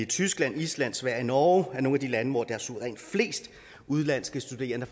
tyskland island sverige og norge er nogle af de lande hvorfra der er suverænt flest udenlandske studerende